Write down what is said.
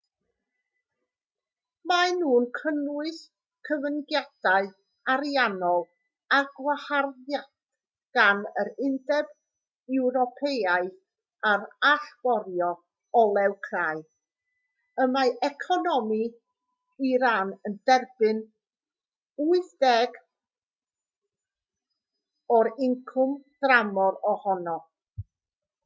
maen nhw'n cynnwys cyfyngiadau ariannol a gwaharddiad gan yr undeb ewropeaidd ar allforio olew crai y mae economi iran yn derbyn 80% o'i incwm tramor ohono